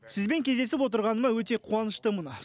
сізбен кездесіп отырғаныма өте қуаныштымын